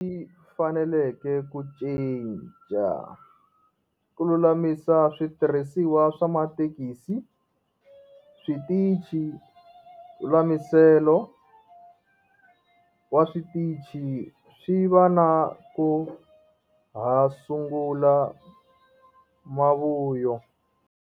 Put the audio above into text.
Faneleke ku cinca. Ku lulamisa switirhisiwa swa mathekisi, switichi lulamiselo wa switichi swi va na ku ha sungula mavuyo.